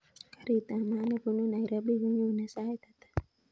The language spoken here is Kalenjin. Karit ab maat nebunu nairobi konyonee sait ata